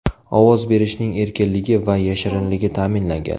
Ovoz berishning erkinligi va yashirinligi ta’minlangan.